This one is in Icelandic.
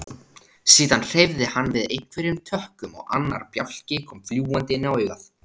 Síðan hreyfði hann við einhverjum tökkum og annar bjálki kom fljúgandi inn á augað.